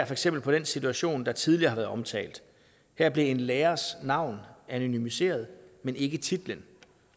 for eksempel på den situation der tidligere har været omtalt her blev en lærers navn anonymiseret men ikke titlen